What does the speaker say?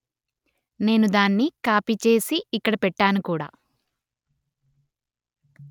నేను దాన్ని కాపీ చేసి ఇక్కడ పెట్టాను కూడా